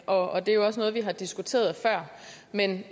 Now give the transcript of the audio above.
og det er jo også noget vi har diskuteret før men